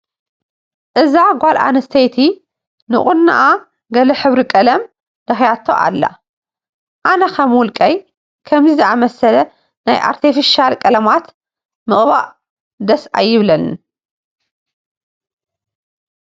እዛ ጓል ኣነስተይቲ ንቑኖአ ገለ ሕብሪ ቀለም ለኺያቶ ኣላ፡፡ ኣነ ከም ውልቀይ ከምዚ ዝኣምሰለ ናይ ኣትተፊሻል ቀለማት ምቅብባኣት ደስ ኣይብለንን፡፡